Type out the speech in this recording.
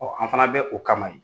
Ɔ an fana bɛ o kama in